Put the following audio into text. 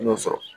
I y'o sɔrɔ